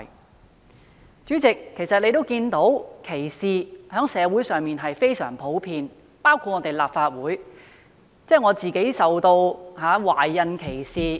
代理主席，現時在香港，歧視情況非常普遍，我在立法會也曾受到懷孕歧視。